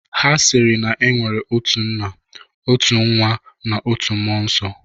Ha sịrị na e nwere otu nna, otu nwa nakwa otu mmụọ nsọ.